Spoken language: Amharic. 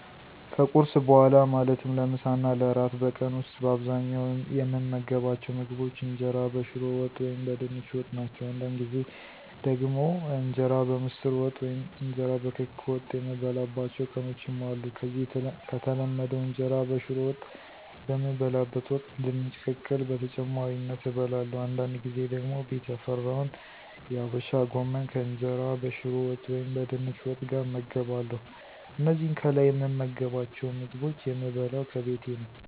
ከቁርስ በኋላ ማለትም ለምሳ እና ለእራት በቀን ዉስጥ በአብዛኛዉ የምመገባቸዉ ምግቦች እንጀራ በሽሮ ወጥ ወይም በድንች ወጥ ናቸው። አንዳንድ ጊዜ ደግሞ እንጀራ በምስር ወጥ ወይም እንጀራ በክክ ወጥ የምበላባቸዉ ቀኖችም አሉ። ከዚህ ከተለመደዉ እንጀራ በሽሮ ወጥ በምበላበት ወቅት ድንች ቅቅል በተጨማሪነት እበለለሁ፤ አንዳድ ጊዜ ደግሞ ቤት ያፈራውን የአበሻ ጎመን ከእንጀራ በሽሮ ወጥ ወይም በድንች ወጥ ጋር እመገባለሁ። እነዚህን ከላይ የምመገባቸዉን ምግቦች የምበለው ከቤቴ ነው።